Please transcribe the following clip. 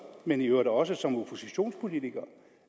men i øvrigt også som oppositionspolitiker